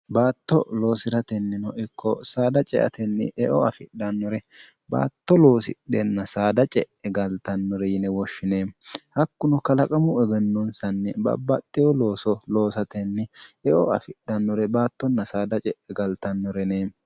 baatto loosi'ratennino ikko saada ceatenni eo afidhannore baatto loosidhenna saada ce'e galtannore yine woshshine hakkuno kalaqamu egennonsanni babbaxxeyo looso loosatenni eo afidhannore baattonna saada ce'e galtannorene